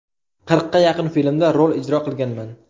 Qirqqa yaqin filmda rol ijro qilganman.